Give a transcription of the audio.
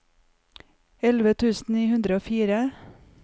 elleve tusen ni hundre og fire